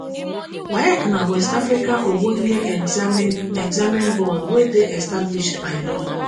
waec na west africa ogbonge examining examining board wey dey established by law